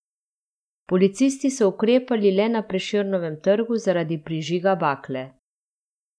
Policisti so ukrepali le na Prešernovem trgu zaradi prižiga bakle.